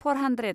four hundred